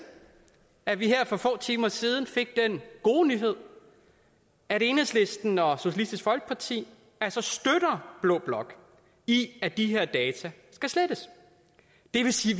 at vi her for få timer siden fik den gode nyhed at enhedslisten og socialistisk folkeparti altså støtter blå blok i at de her data skal slettes det vil sige